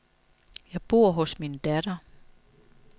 Jeg bor hos min datter.